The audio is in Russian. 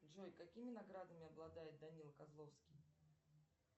джой какими наградами обладает данила козловский